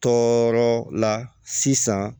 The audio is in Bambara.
Tɔɔrɔ la sisan